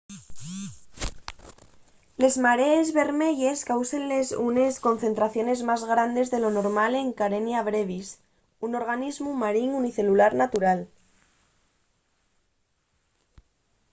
les marees bermeyes cáusenles unes concentraciones más grandes de lo normal de karenia brevis un organismu marín unicelular natural